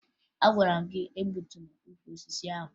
Agwara m gị egbutula ukwu osisi ahụ!